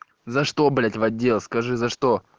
за что блять в отдел скажи за что